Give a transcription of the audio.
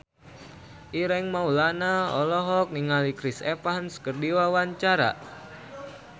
Ireng Maulana olohok ningali Chris Evans keur diwawancara